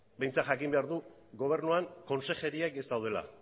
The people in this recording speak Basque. behintzat jakin behar du gobernuan konsejeriak ez daudela